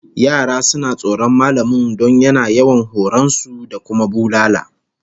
Yara suna tsoron mallamin don yana yawan horon su da kuma bulala